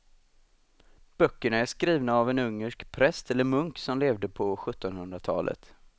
Böckerna är skrivna av en ungersk präst eller munk som levde på sjuttonhundratalet.